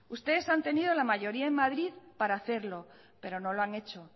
ustedes han tenido la mayoría en madrid para hacerlo pero no lo han hecho